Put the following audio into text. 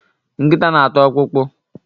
Nkita na ata ọkpụkpụ